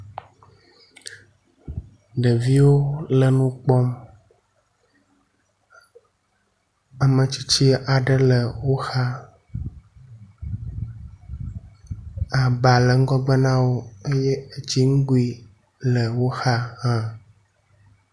Ɖeviwo le nu kpɔm. ame tsitsi aɖe le wo xa. Aba le ŋgɔgbe na wo eye etsi nugui le wo xa hã.